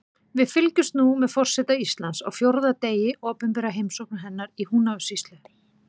Við fylgjumst nú með forseta Íslands á fjórða degi opinberrar heimsóknar hennar í Húnavatnssýslu.